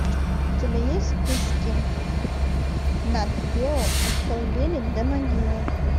у тебя есть в списке натгео от колыбели до могилы